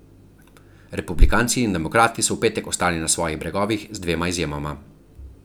Republikanci in demokrati so v petek ostali na svojih bregovih z dvema izjemama.